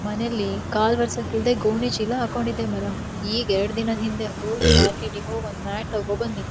ಮನೆಲ್ಲಿ ಕಾಲ ಒರೆಸಲಿಕ್ಕೆ ಇಲ್ಲದೆ ಗೋಣಿಚೀಲ ಹಾಕೊಂಡಿದ್ದೆ ಮರ ಈಗ ಎರಡ ದಿನದ ಹಿಂದೆ ಹೋಗಿ ಮಾರ್ಕೆಟ್ ಹೋಗಿ ಒಂದ ಮ್ಯಾಟ್ ತೊಕೊಬಂದೀನಿ.